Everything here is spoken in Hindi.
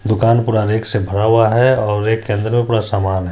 दुकान पूरा रेक से भरा हुआ है और रेक के अंदर में पूरा समान है।